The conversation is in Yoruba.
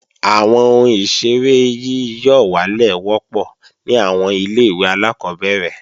Àwọn ohun ìṣeré yíyọ̀wálè wọ́pọ̀ ní àwọn ilé-ìwé alákọ́bẹ̀rẹ̀